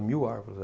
mil árvores.